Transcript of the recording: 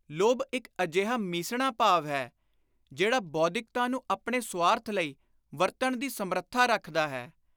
ਲੋਭ ਇਕ ਅਜਿਹਾ ਮੀਸਣਾ ਭਾਵ ਹੈ ਜਿਹੜਾ ਬੋਧਿਕਤਾ ਨੂੰ ਆਪਣੇ ਸੁਆਰਥ ਲਈ ਵਰਤਣ ਦੀ ਸਮਰੱਥਾ ਰੱਖਦਾ ਹੈ।